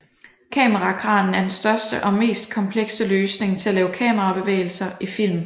Kamerakranen er den største og mest komplekse løsning til at lave kamerabevægelser i film